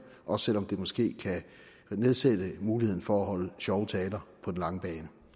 også selv om det måske kan nedsætte muligheden for at holde sjove taler på den lange bane